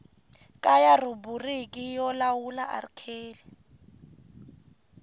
kaya rhubiriki yo lawula rk